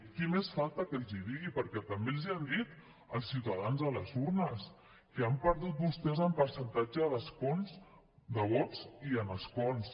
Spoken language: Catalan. qui més falta que els hi digui perquè també els hi han dit els ciutadans a les urnes que han perdut vostès en percentatge de vots i en escons